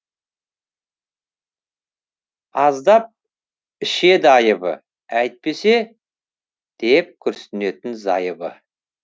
аздап ішеді айыбы әйтпесе деп күрісінетін зайыбы